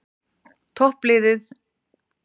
Toppliðin spila bæði í dag